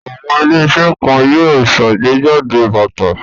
Àwọn ilé-iṣẹ́ kan yóò ṣàgbéjáde bàtà.